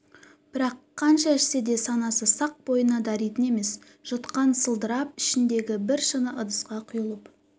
бірақ қанша ішсе де санасы сақ бойына даритын емес жұтқан сылдырлап ішіндегі бір шыны ыдысқа құйылып